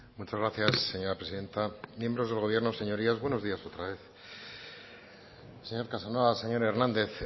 muchas gracias señora presidenta miembros del gobierno buenos días otra vez señor casanova señor hernández